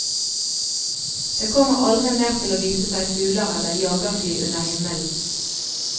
Det kommer aldri mer til å vise seg fugler eller jagerfly under himmelen.